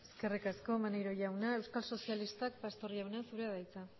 eskerrik asko maneiro jauna euskal sozialistak pastor jauna zurea da hitza